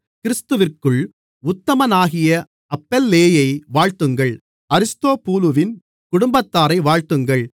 கிறிஸ்துவிற்குள் உத்தமனாகிய அப்பெல்லேயை வாழ்த்துங்கள் அரிஸ்தொபூலுவின் குடும்பத்தாரை வாழ்த்துங்கள்